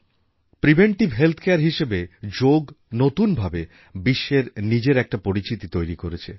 preventive health care হিসেবে যোগ নতুন ভাবে বিশ্বে নিজের একটা পরিচিতি তৈরি করেছে